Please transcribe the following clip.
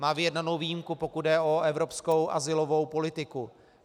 Má vyjednanou výjimku, pokud jde o evropskou azylovou politiku.